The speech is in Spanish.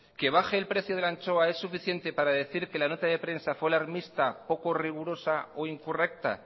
que baje el precio de la anchoa es suficiente para decir que la nota de prensa fue alarmista poco rigurosa o incorrecta